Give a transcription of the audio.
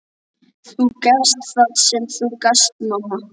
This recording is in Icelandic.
Þú gafst það sem þú gast, mamma.